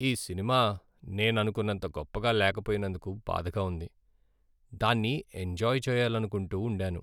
ఈ సినిమా నేను అనుకున్నంత గొప్పగా లేకపోయినందుకు బాధగా ఉంది. దాన్ని ఎంజాయ్ చేయాలనుకుంటూ ఉండాను.